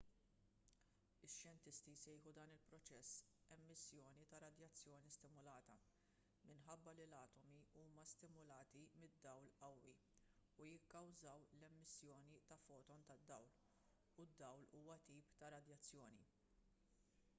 ix-xjentisti jsejħu dan il-proċess emissjoni ta' radjazzjoni stimulata minħabba li l-atomi huma stimulati mid-dawl qawwi u jikkawżaw l-emissjoni ta' foton ta' dawl u d-dawl huwa tip ta' radjazzjoni